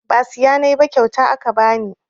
Ba siya nayi ba kyauta aka bani